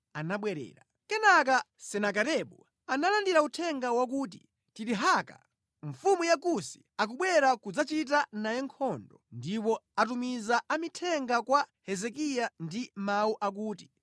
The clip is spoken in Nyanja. Nthawi imeneyi Senakeribu analandira uthenga wakuti Tirihaka, mfumu ya ku Kusi akubwera kudzachita naye nkhondo. Atamva zimenezi, anatumiza amithenga kwa Hezekiya ndi mawu awa: